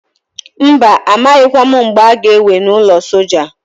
Mba! A maghịkwa m mgbe a ga ewe n'ọlụ soja.